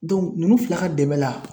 nunnu fila ka dɛmɛ la